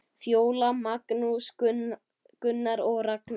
Fjóla, Magnús, Gunnar og Ragnar.